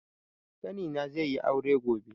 Ƙani na ze yi aure gobe